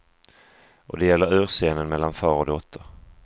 Och det gäller urscenen mellan far och dotter.